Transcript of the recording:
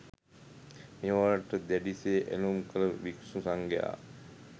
මේවාට දැඩි සේ ඇලූම් කළ භික්‍ෂු සංඝයා